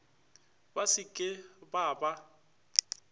ba se ke ba ba